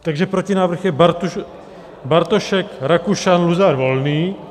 Takže protinávrh je: Bartošek, Rakušan, Luzar, Volný.